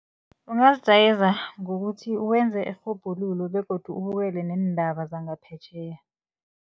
Ungazijayeza ngokuthi wenze irhubhululo begodu ubukele neendaba zangaphetjheya.